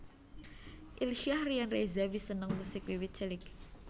Ilsyah Ryan Reza wis seneng musik wiwit cilik